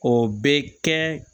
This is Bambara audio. O bɛ kɛ